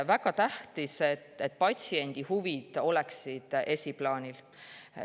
Väga tähtis on, et patsiendi huvid oleksid esiplaanil.